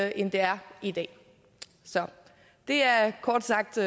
end det er i dag det er kort sagt